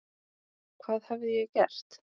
Hvað hafði ég gert?